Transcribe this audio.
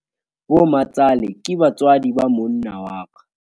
bomatsale ke batswadi ba monna wa ka